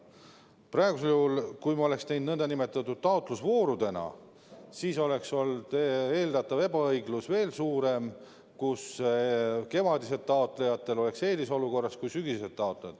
Praegusel juhul, kui ma oleksin selle teinud nn taotlusvoorudena, siis eelduslikult oleks ebaõiglus olnud veel suurem, sest kevadised taotlejad olnuks eelisolukorras võrreldes sügisestega.